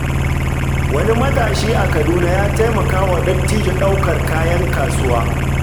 Wani matashi a Kaduna ya taimaka wa dattijo ɗaukar kayan kasuwa.